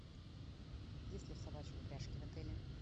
есть ли собачьи упряжки в отеле